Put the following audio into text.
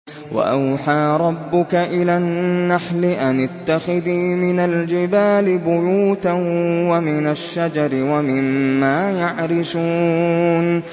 وَأَوْحَىٰ رَبُّكَ إِلَى النَّحْلِ أَنِ اتَّخِذِي مِنَ الْجِبَالِ بُيُوتًا وَمِنَ الشَّجَرِ وَمِمَّا يَعْرِشُونَ